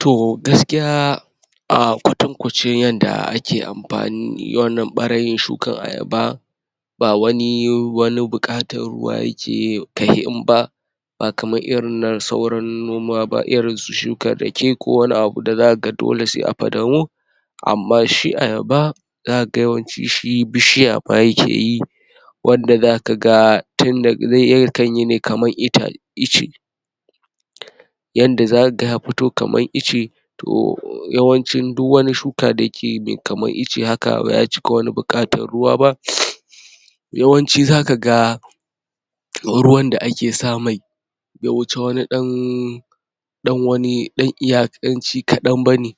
To, gaskiya um kwatankwacin yanda ake amfani wannan ɓarayin shukan ayaba ba wani wani buƙatan ruwa yake ka'ihin ba ba kamar irin na sauran noma ba, irin su shukar rake ko wani abu da zakaga dole sai a fadamo amma shi ayaba zakaga yawanci shi bishiya ma yake yi wanda zakaga tun daga zai yakan yi ne kamar ita? ice yanda zakaga ya fito kamar ice to yawancin du wani shuka da ke me kamar ice haka baya cika wani buƙatar ruwa ba yawanci zakaga ruwan da ake sa mai ya wuce wani ɗan ɗan wani, ɗan iya? ci kaɗan bane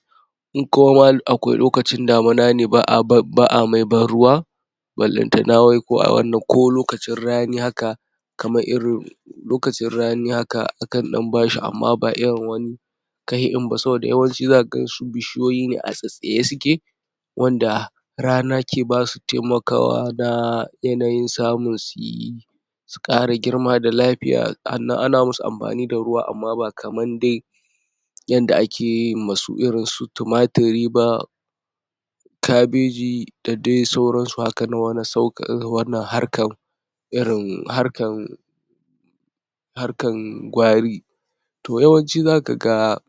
in kuma ma akwai lokacin damina ne ba'a ba'a mai ban ruwa ballantana wai ko a wannan, ko lokacin rani haka kamar irin lokacin rani haka, akan ɗan bashi amma ba irin wani kahi ɗin ba saboda yawanci zaka gansu bishiyoyi ne a tsatstsaye suke wanda rana ke basu taimakawa da yanayin samun suyi su ƙara girma da lafiya, hannan ana musu amfani da ruwa, amma ba kaman dai yanda akeyi masu irin su tumatiri ba kabeji, da dai sauran su haka nan wane sauƙ?wane harkan irin harkan harkan gwari to yawanci zakaga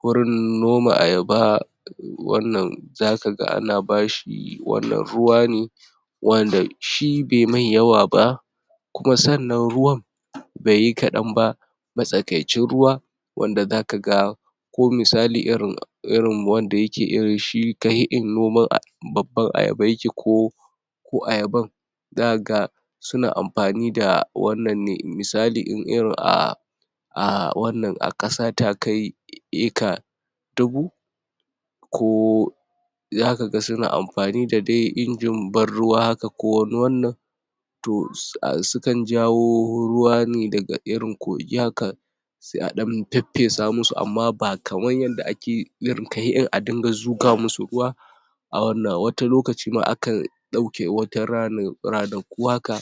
wurin noma ayaba um wannan zakaga ana bashi, wannan ruwa ne wanda shi bai mai yawa ba kuma sannan ruwan bai yi kaɗan ba matsakaicin ruwa wanda zakaga ko misali irin irin wanda yake irin shi kahi ɗin noman aya? babban ayaba yake ko ko ayaban zakaga suna amfani da wannan ne. Misali in irin um um wannan a ƙasa ta kai eka dubu ko zakaga suna amfani da dai injin ban ruwa haka, ko wani wannan to um su su kan jawo ruwa ne daga irin kogi haka se a ɗan feffesa musu amma ba kaman yanda ake irin kahi ɗin a dinga zuga musu ruwa a wannan wata lokaci ma akan ɗauke wata rana? ranaku haka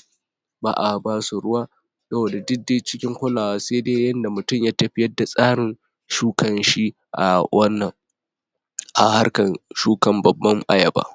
ba a basu ruwa saboda duk dai cikin kulawa, se dai yanda mutum ya tafiyar da tsarin shukan shi a wannan a harkan shukan babban ayaba.